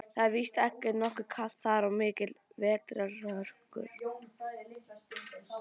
Það er víst nokkuð kalt þar og miklar vetrarhörkur.